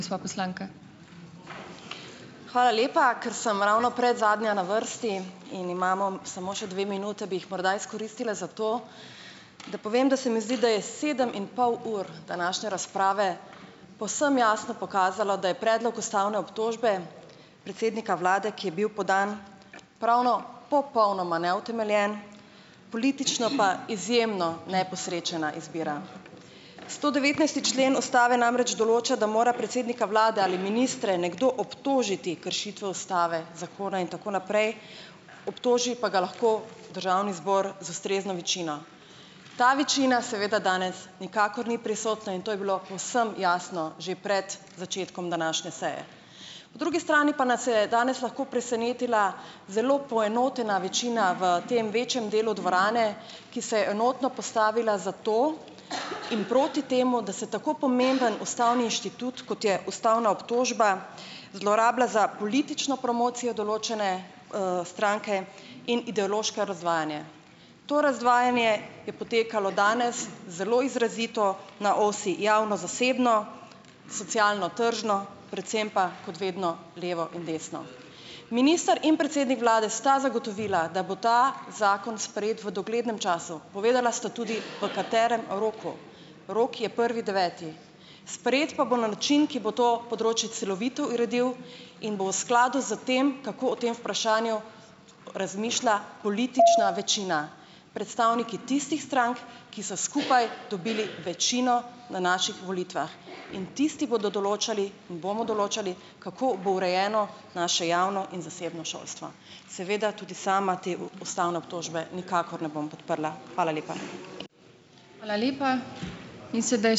Gospa poslanka. Hvala lepa. Ker sem ravno predzadnja na vrsti in imamo samo še dve minute, bi jih morda izkoristila za to, da povem, da se mi zdi da je sedem in pol ur današnje razprave povsem jasno pokazalo, da je predlog ustavne obtožbe predsednika vlade, ki je bil podan, pravno popolnoma neutemeljen, politično pa izjemno neposrečena izbira. Stodevetnajsti člen ustave namreč določa, da mora predsednika vlade ali ministre nekdo obtožiti kršitve ustave, zakona in tako naprej, obtoži pa ga lahko državni zbor z ustrezno večino. Ta večina seveda danes nikakor ni prisotna in to je bilo povsem jasno že pred začetkom današnje seje. Drugi strani pa nas je danes lahko presenetila zelo poenotena večina v tem vašem delu dvorane, ki se je enotno postavila za to in proti temu, da se tako pomemben ustavni inštitut, kot je ustavna obtožba, zlorablja za politično promocijo določene, stranke in ideološko razvajanje. To razvajanje je potekalo danes zelo izrazito na osi javno-zasebno, socialno-tržno, predvsem pa kot vedno levo in desno. Minister in predsednik vlade sta zagotovila, da bo ta zakon sprejet v doglednem času. Povedala sta tudi, v katerem roku. Rok je prvi deveti. Sprejeti pa bo na način, ki bo to področje celovito uredil in bo v skladu s tem, kako o tem vprašanju razmišlja politična večina. Predstavniki tistih strank, ki so skupaj dobili večino na naših volitvah, in tisti bodo določali in bomo določali, kako bo urejeno naše javno in zasebno šolstvo. Seveda tudi sama te ustavne obtožbe nikakor ne bom podprla. Hvala lepa.